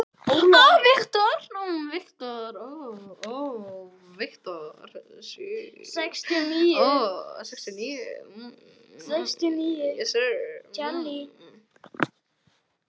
Ólafi fannst sem Drottinn sjálfur liti til með sér.